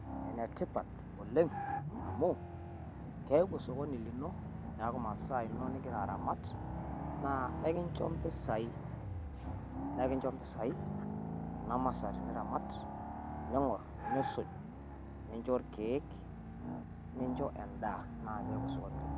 Enetipaat oleng amu keaku sokoni linoo neeku masaa eno nijiraa aramaat. Naa ekinchoo mpisai nee kinchoo mpisai kuna masaa tiniramaat ning'oor niisuuj ninchoo lkeek ninchoo endaa. Naa keeku sokoni linoo.